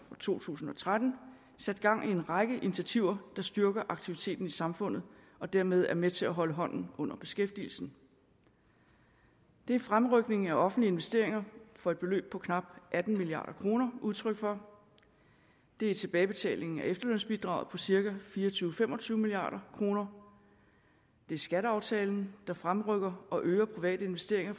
for to tusind og tretten sat gang i en række initiativer der styrker aktiviteten i samfundet og dermed er med til at holde hånden under beskæftigelsen det er en fremrykning af offentlige investeringer for et beløb på knap atten milliard kroner udtryk for det er tilbagebetaling af efterlønsbidraget på cirka fire og tyve til fem og tyve milliard kroner det er skatteaftalen der fremrykker og øger private investeringer